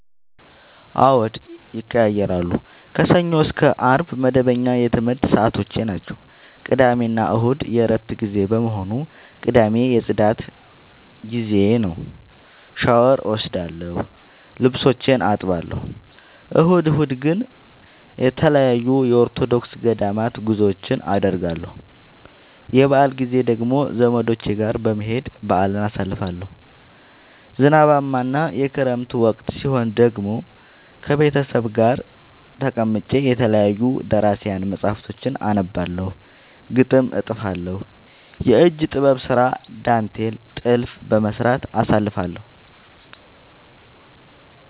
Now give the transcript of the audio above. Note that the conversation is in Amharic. አዎድ ይቀየያራሉ። ከሰኞ እስከ አርብ መደበኛ የትምረት ሰዓቶቼናቸው ቅዳሜና እሁድ የእረፍት ጊዜ በመሆኑ። ቅዳሜ የፅዳት ጊዜዬ ነው። ሻውር እወስዳለሁ ልብሶቼን አጥባለሁ። እሁድ እሁድ ግን ተለያዩ የኦርቶዶክስ ገዳማት ጉዞወችን አደርገለሁ። የበአል ጊዜ ደግሞ ዘመዶቼ ጋር በመሄድ በአልን አሳልፋለሁ። ዝናባማ እና የክረምት ወቅት ሲሆን ደግሞ ቤተሰብ ጋር ተቀምጬ የተለያዩ ደራሲያን መፀሀፍቶችን አነባለሁ፤ ግጥም እጥፋለሁ፤ የእጅ ጥበብ ስራ ዳንቴል ጥልፍ በመስራት አሳልፍለሁ።